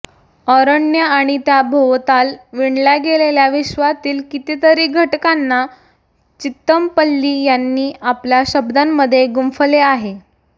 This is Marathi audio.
अरण्य आणि त्या भोवताल विणल्या गेलेल्या विश्वातील कितीतरी घटकांना चितमपल्ली यांनी आपल्या शब्दांमध्ये गुंफले आहे